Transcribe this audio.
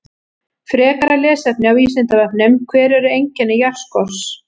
Frekara lesefni á Vísindavefnum: Hver eru einkenni járnskorts?